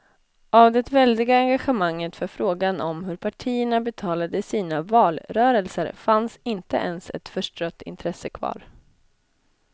Av det väldiga engagemanget för frågan om hur partierna betalade sina valrörelser fanns inte ens ett förstrött intresse kvar.